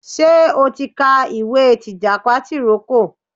Ṣé o ti ka ìwé tìjàpá tìrókò.